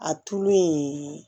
A tulu ye